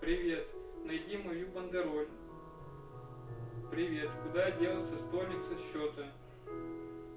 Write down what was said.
привет найди мою бандероль привет куда делся столик со счёта